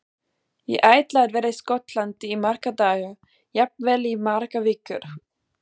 Ég ætla að vera í Skotlandi í marga daga, jafnvel í margar vikur.